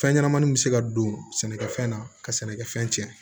Fɛn ɲɛnɛmaniw bɛ se ka don sɛnɛkɛfɛn na ka sɛnɛkɛfɛn cɛn